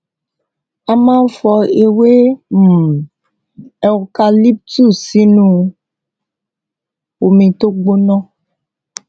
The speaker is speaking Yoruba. a máa ń fọ ewé um eucalyptus sínú omi tó gbóná